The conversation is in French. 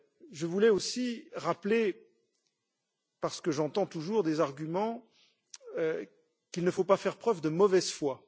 Je voulais aussi rappeler parce que j'entends toujours des arguments qu'il ne faut pas faire preuve de mauvaise foi.